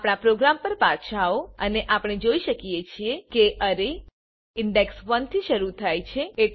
આપણા પ્રોગ્રામ પર પાછા આવોઆપણે જોઈ શકીએ છે અરે ઇન્ડેક્સ 1થી શરુ થાય છે